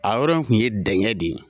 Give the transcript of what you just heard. A yɔrɔ in kun ye dɛngɛ de ye.